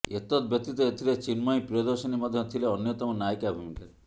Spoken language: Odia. ଏତଦବ୍ୟତୀତ ଏଥିରେ ଚିନ୍ମୟୀ ପ୍ରିୟଦର୍ଶିନୀ ମଧ୍ୟ ଥିଲେ ଅନ୍ୟତମ ନାୟିକା ଭୂମିକାରେ